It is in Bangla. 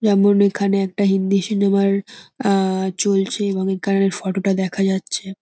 যেমন এখানে একটা হিন্দি সিনেমার অ্যা চলছে এবং এখানের ফটো টার দেখা যাচ্ছে।